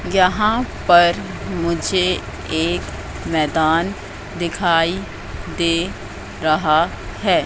यहां पर मुझे एक मैदान दिखाई दे रहा है।